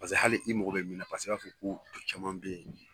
Paseke hali i mago be min na paseke i b'a fɔ ko caman be yen